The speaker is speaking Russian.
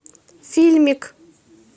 фильмик